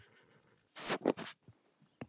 Fjölbreytileiki í plöntuvali er sauðfé mikilvægt.